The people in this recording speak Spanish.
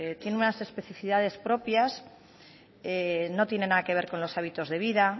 tiene unas especifidades propias no tiene nada que ver con los hábitos de vida